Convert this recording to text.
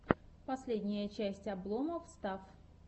последняя часть обломофф стафф